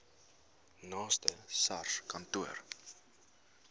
naaste sars kantoor